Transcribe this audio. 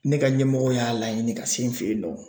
Ne ka ɲɛmɔgɔ y'a laɲini ka se n fɛyinnɔ.